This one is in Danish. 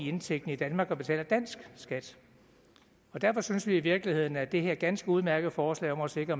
indtægten i danmark og betaler også dansk skat og derfor synes vi i virkeligheden at det her ganske udmærkede forslag om at sikre